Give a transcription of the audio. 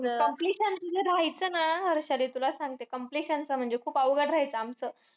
Completion जे राहायचं ना. हर्षदे तुला सांगते completion च म्हणजे अवघड राहायचं आमचं.